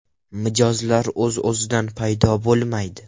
Mijozlar o‘z-o‘zidan paydo bo‘lmaydi.